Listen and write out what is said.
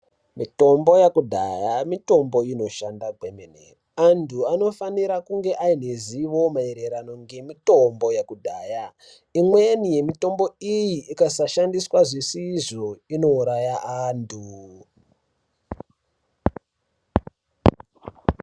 Mitombo yakudhaya mitombo inoshanda kwemene anthu anofanira kunge ane zivo maererano ngemitombo yakudhaya imweni yemitombo iyi ikasashandiswa zvisizvo inouraya anthu.